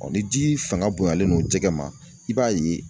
ni ji fanga bonyalen don jɛgɛ ma i b'a ye.